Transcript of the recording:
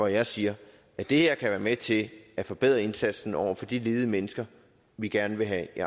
jeg siger at det her kan være med til at forbedre indsatsen over for de ledige mennesker vi gerne vil have i